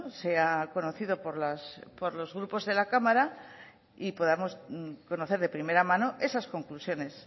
sea conocido por los grupos de la cámara y podamos conocer de primera mano esas conclusiones